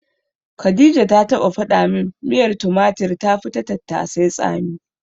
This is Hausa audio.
Khadija ta taɓa faɗa min miyar tumatir tafi ta tattasai tsami.